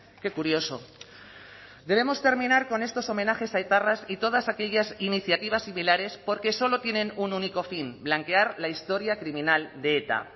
qué curioso debemos terminar con estos homenajes a etarras y todas aquellas iniciativas similares porque solo tienen un único fin blanquear la historia criminal de eta